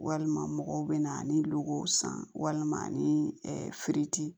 Walima mɔgɔw bɛ na ni luw san walima ani feti